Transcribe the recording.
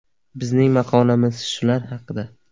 Bizning maqolamiz shular haqida.